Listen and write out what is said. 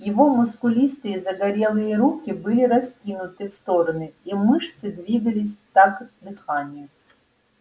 его мускулистые загорелые руки были раскинуты в стороны и мышцы двигались в такт дыханию